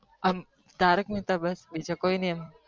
તારક મહેતા બસ બીજું કય નહી